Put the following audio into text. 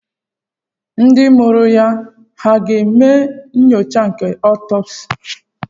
Ndị mụrụ ya hà ga-eme nyocha nke otopsi?